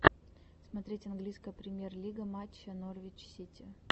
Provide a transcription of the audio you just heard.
смотреть английская премьер лига матча норвич сити